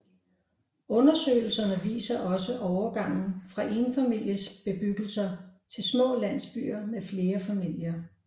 Undersøgelserne viser også overgangen fra enfamilies bebyggelser til små landsbyer med flere familier